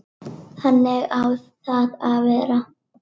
Þannig á það að vera.